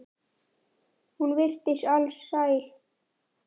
Hún virtist alsæl.